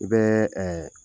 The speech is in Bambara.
U bɛɛ